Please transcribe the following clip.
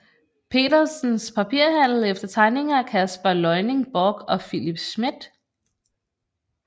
Petersens Papirhandel efter tegninger af Caspar Leuning Borch og Philip Smidth